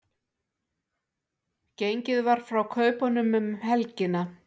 Gengið var frá kaupunum um helgina